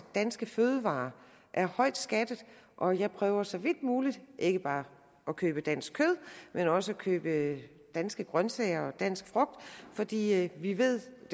danske fødevarer er højt skattede og jeg prøver så vidt muligt ikke bare at købe dansk kød men også at købe danske grønsager og dansk frugt fordi vi ved at